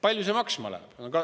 Palju see maksma läheb?